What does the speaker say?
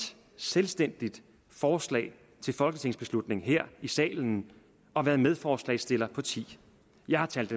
selvstændigt forslag til folketingsbeslutning her i salen og været medforslagsstiller på ti jeg har talt